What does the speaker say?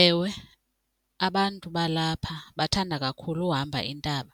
Ewe, abantu balapha bathanda kakhulu uhamba intaba